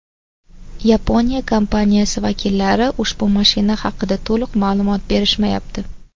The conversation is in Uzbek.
Yaponiya kompaniyasi vakillari ushbu mashina haqida to‘liq ma’lumot berishmayapti.